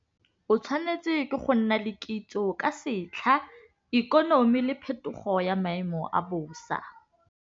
O tshwanetse ke go nna le kitso ka setlha, ikonomi le phetogo ya maemo a bosa.